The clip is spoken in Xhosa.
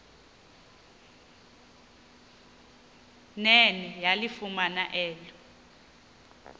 nene yalifumana elo